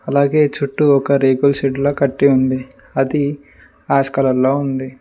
అలాగే చుట్టూ ఒక రేకుల షెడ్డులా కట్టి ఉంది అది ఆస్కాలర్ లో ఉంది.